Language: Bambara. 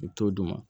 I t'o d'u ma